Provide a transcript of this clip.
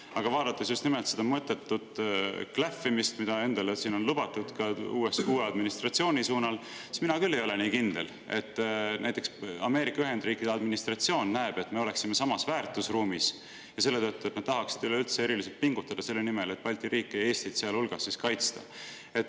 Aga vaadates seda mõttetut klähvimist, mida siin endale on lubatud ka USA uue administratsiooni suunal, siis mina küll ei ole nii kindel, et näiteks Ameerika Ühendriikide administratsioon näeks, et me oleme samas väärtusruumis, ja nad selle tõttu tahaksid üldse eriliselt pingutada selle nimel, et Balti riike, sealhulgas Eestit kaitsta.